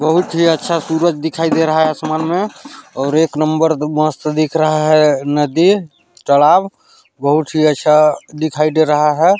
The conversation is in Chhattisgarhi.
बहुत ही अच्छा सूरज दिखाई दे रहा है आसमान मे और एक नंबर मस्त दिख रहा है नदी तालाब बहुत ही अच्छा दिखाई दे रहा है।